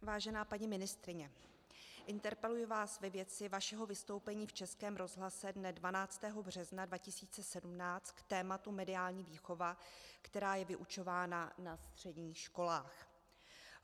Vážená paní ministryně, interpeluji vás ve věci vašeho vystoupení v Českém rozhlase dne 12. března 2017 k tématu mediální výchova, která je vyučována na středních školách.